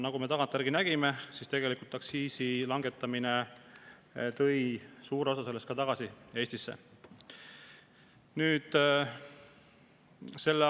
Nagu me tagantjärele nägime, tegelikult aktsiisi langetamine tõi suure osa sellest Eestisse tagasi.